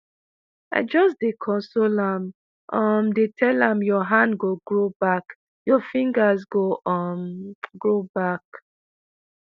"i just dey console am um dey tell am 'your hand go grow back your fingers go um grow back.'"